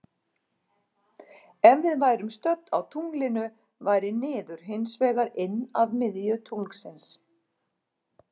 Ef við værum stödd á tunglinu væri niður hins vegar inn að miðju tunglsins.